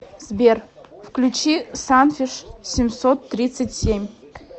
сбер включи санфиш семьсот тридцать семь